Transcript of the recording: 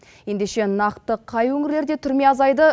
ендеше нақты қай өңірлерде түрме азайды